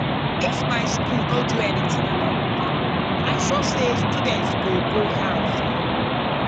if my school no do anything about water i sure say students go go house um